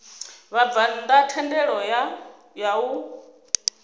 vhabvann ḓa thendelo ya u